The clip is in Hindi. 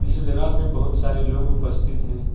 इसी जगह पर बहुत सारे लोग उपस्थित हैं।